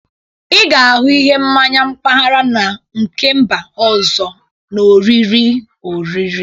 Ị ga-ahụ ihe mmanyi mpaghara na nke mba ọzọ na oriri oriri